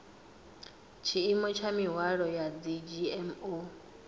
tshiimo tsha mihwalo ya dzgmo